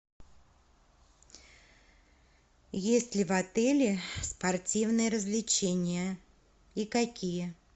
есть ли в отеле спортивные развлечения и какие